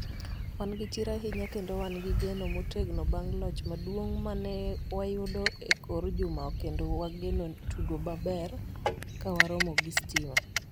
"Wan gi chir ahinya kendo wan gi geno motegno bang' loch maduong' ma ne wayudo e kor juma kendo wageno tugo maber ka waromo gi Stima."